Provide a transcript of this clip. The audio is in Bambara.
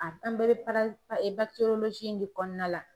A tan de reparazi ee bakitorolozi in de kɔnɔna la